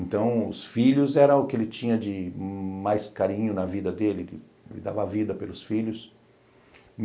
Então, os filhos era o que ele tinha de mais carinho na vida dele, ele dava vida pelos filhos.